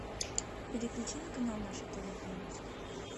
переключи на канал наше тв пожалуйста